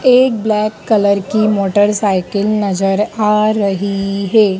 एक black colour की motorcycle नजर आ रही है।